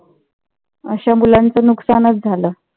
अशा मुलाचं नुकसानच झाल.